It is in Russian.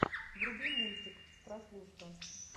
вруби мультик прослушка